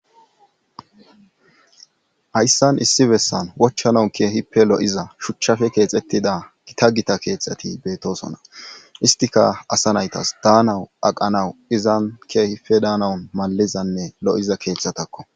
Hayssan issi bessan wochchanau keehippe lo7iza shuchchafe keexettida gita gita keetxati beetosona istika asa naytas daanawu aqanawu izan keehipe daanawun malizanne lo7iza keeththatakko